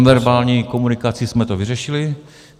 Nonverbální komunikací jsme to vyřešili.